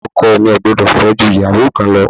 Ọkọ mi kò gbúdọ̀ fẹ́ ju ìyàwó kan lọ.